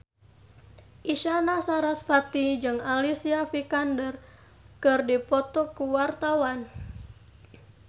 Isyana Sarasvati jeung Alicia Vikander keur dipoto ku wartawan